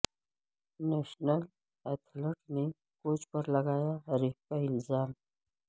national athlete نے coach پر لگایا ریپ کا الزام